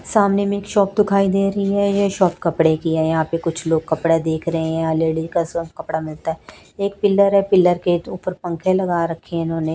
सामने में एक शॉप दुखाई दे रही है ये शॉप कपड़े की है यहां पे कुछ लोग कपड़ा देख रहे हैं लेडीज का सब कपड़ा मिलता है एक पिलर है पिलर के ऊपर पंख लगा रखे हैं इन्होंने।